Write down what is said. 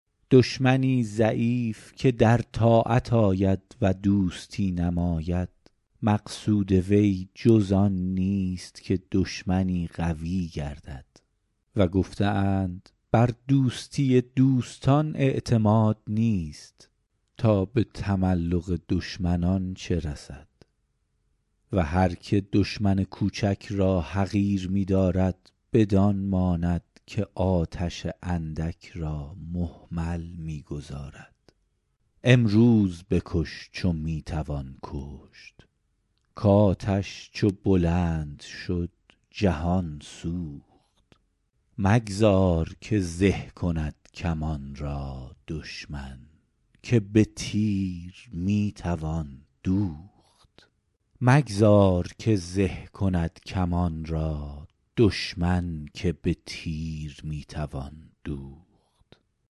دشمنی ضعیف که در طاعت آید و دوستی نماید مقصود وی جز آن نیست که دشمنی قوی گردد و گفته اند بر دوستی دوستان اعتماد نیست تا به تملق دشمنان چه رسد و هر که دشمن کوچک را حقیر می دارد بدان ماند که آتش اندک را مهمل می گذارد امروز بکش چو می توان کشت کآتش چو بلند شد جهان سوخت مگذار که زه کند کمان را دشمن که به تیر می توان دوخت